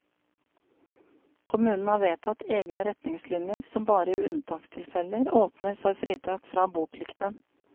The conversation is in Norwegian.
Kommunen har vedtatt egne retningslinjer som bare i unntakstilfeller åpner for fritak fra boplikten.